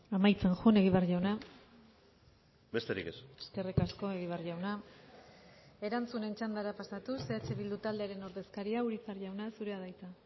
amaitzen joan egibar jauna besterik ez eskerrik asko egibar jauna erantzunen txandara pasatuz eh bildu taldearen ordezkaria urizar jauna zurea da hitza